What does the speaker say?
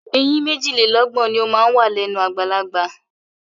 Eyín méjìlélọ́gbọ̀n ni ó máa ń wà lẹ́nu àgbàlagbà.